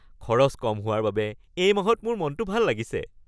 খৰচ কম হোৱাৰ বাবে এই মাহত মোৰ মনটো ভাল লাগিছে।